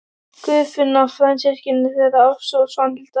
Guðfinna frændsystkin þeirra Ástu og Svanhildar.